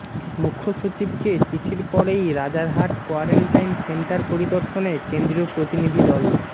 মুখ্যসচিবকে চিঠির পরেই Rajarhat quarantine centre পরিদর্শনে কেন্দ্রীয় প্রতিনিধি দল